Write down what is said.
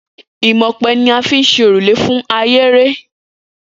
Imò̩ope̩ ni a fi ń s̩e òrùlé fún ahere